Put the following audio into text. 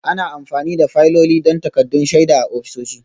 Ana amfani da fayiloli don takaddun shaida a ofisoshi